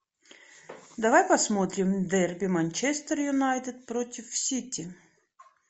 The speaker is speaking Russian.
давай посмотрим дерби манчестер юнайтед против сити